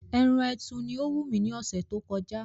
Ẹran ẹtù ni ó wù mí ní ọ̀sẹ̀ tó kọjá